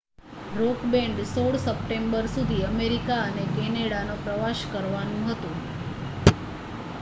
rock band 16 September સુધી America અને કેનેડાનો પ્રવાસ કરવાનું હતું